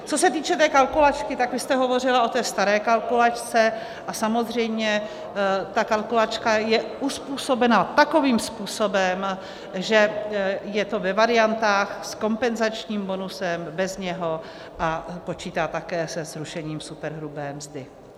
Co se týče té kalkulačky, tak vy jste hovořila o té staré kalkulačce a samozřejmě ta kalkulačka je uzpůsobena takovým způsobem, že je to ve variantách s kompenzačním bonusem, bez něho a počítá také se zrušením superhrubé mzdy.